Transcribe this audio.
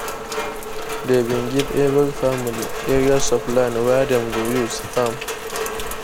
dem bin give every family areas of land wey dem go use farm.